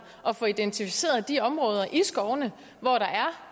at få identificeret de områder i skovene hvor der